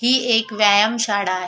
हि एक व्यायाम शाळा आहे.